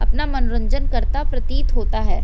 अपना मनोरंजन करता प्रतीत होता है।